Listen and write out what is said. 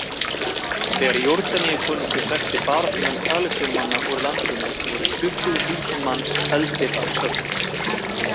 Þegar Jórdaníukonungur hrakti baráttumenn Palestínumanna úr landinu, voru tuttugu þúsund manns felldir að sögn.